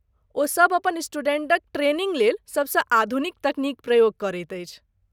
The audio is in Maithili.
ओ सभ अपन स्टूडेंटक ट्रेनिंग लेल सभसँ आधुनिक तकनीक प्रयोग करैत अछि।